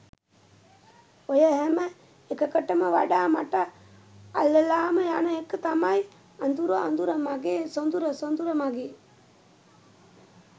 ඔය හැම එකකටම වඩා මට අල්ලලාම යන එක තමයි "අඳුර අඳුර මගේ සොඳුර සොඳුර මගේ